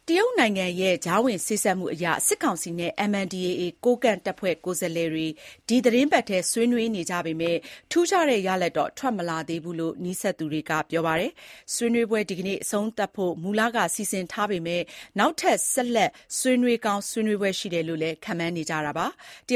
တရုတ်နိုင်ငံရဲ့ ကြားဝင်စေ့စပ်မှုအရ စစ်ကောင်စီနဲ့ MNDAA ကိုးကန့်တပ်ဖွဲ့ ကိုယ်စားလှယ်တွေ ဒီသီတင်းပတ်ထဲ ဆွေးနွေးနေကြပေမယ့် ထူးခြားတဲ့ရလဒ်တော့ ထွက်မလာသေးဘူးလို့ နီးစပ်သူတွေက ပြောပါတယ်။ ဆွေးနွေးပွဲ ဒီကနေ့ အဆုံးသတ်ဖို့ မူလကစီစဉ်ထားပေမဲ့ နောက်ထပ် ဆက်လက် ဆွေးနွေးဖွယ် ရှိတယ်လို့လည်း ခန့်မှန်းနေကြပါတယ်။